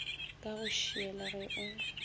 ka go šiela ge o